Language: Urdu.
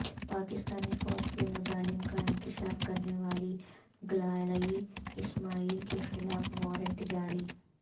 پاکستانی فوج کے مظالم کا انکشاف کرنے والی گلالئی اسماعیل کے خلاف وارنٹ جاری